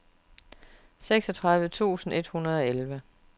seksogtredive tusind et hundrede og elleve